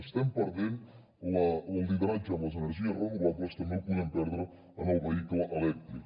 estem perdent el lideratge en les energies renovables també el podem perdre en el vehicle elèctric